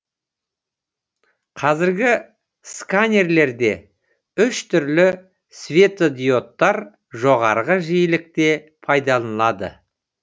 қазіргі сканерлерде үш түрлі светодиодтар жоғарғы жиілікте пайдаланылады